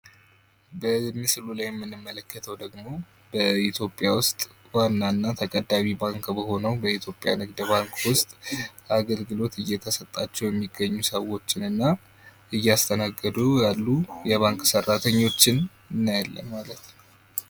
በምስሉ ላይ የምንመለከተው ደግሞ በኢትዮጵያ ውስጥ በዋና እና ተቀዳሚ ከሚባለው ኢትዮጵያ ንግድ ባንክ ውስጥ አገልግሎት እየተሰጣቸው የሚገኙ ሰዎችና እያስተናገዱ ያሉ የባንክ ቤት ሰራተኞችን እናያለን ማለት ነው።